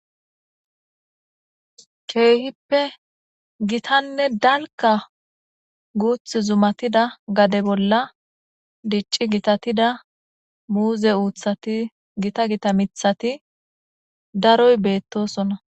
keehippe gitanne dalkka guuthi zumatida gade bolla dicci gitatida muuze uuthati gita gita mithati daroy beettoosona.